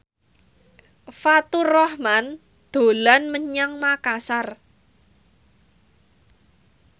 Faturrahman dolan menyang Makasar